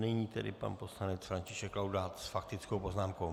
Nyní tedy pan poslanec František Laudát s faktickou poznámkou.